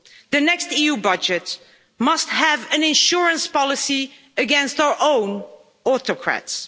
The next EU budget must have an insurance policy against our own autocrats.